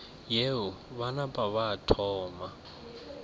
yeo ba napa ba thoma